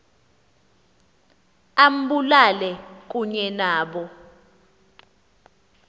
ambulale kunye nabo